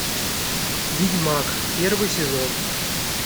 ведьмак первый сезон